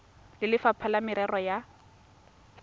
le lefapha la merero ya